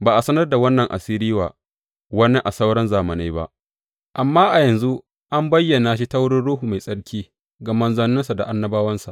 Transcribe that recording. Ba a sanar da wannan asiri wa wani a sauran zamanai ba, amma a yanzu an bayyana shi ta wurin Ruhu Mai Tsarki ga manzanninsa da annabawansa.